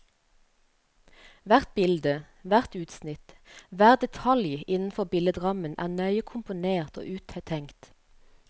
Hvert bilde, hvert utsnitt, hver detalj innenfor billedrammen er nøye komponert og uttenkt.